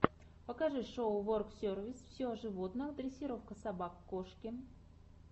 покажи шоу воксервис все о животных дрессировка собак кошки